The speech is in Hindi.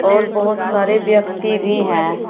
और बहुत सारे व्यक्ति भी हैं।